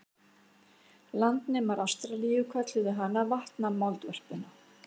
Landnemar Ástralíu kölluðu hana vatnamoldvörpuna.